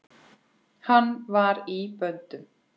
Hann var í böndum.